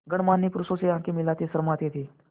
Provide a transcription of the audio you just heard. गणमान्य पुरुषों से आँखें मिलाते शर्माते थे